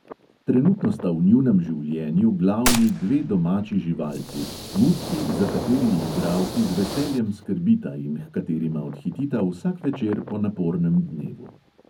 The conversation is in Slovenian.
Trenutno sta v njunem življenju glavni dve domači živalci, mucki, za kateri igralki z veseljem skrbita in h katerima odhitita vsak večer po napornem dnevu.